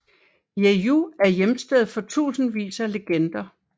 Jeju er hjemsted for tusindvis af legender